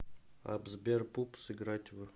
апп сбер пупс играть в